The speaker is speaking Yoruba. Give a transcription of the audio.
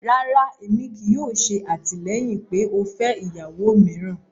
Rárá, ẹmí kíì yòò ṣè àtilẹ̀yin pé o fẹ iyàwó mìráan